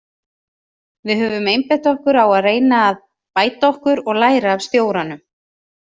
Við höfum einbeitt okkur á að reyna að bæta okkur og læra af stjóranum.